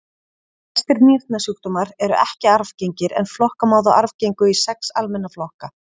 Flestir nýrnasjúkdómar eru ekki arfgengir en flokka má þá arfgengu í sex almenna flokka.